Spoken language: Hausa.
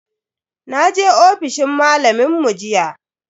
Naje ofishin malamin mu jiya.